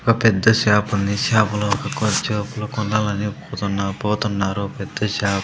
ఒక పెద్ద షాపు ఉంది షాపు లో ఒక కొనాలని పోతున్న పోతున్నారు. పెద్ద షా--